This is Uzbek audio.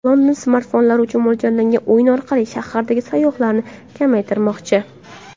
London smartfonlar uchun mo‘ljallangan o‘yin orqali shahardagi sayyohlarni kamaytirmoqchi.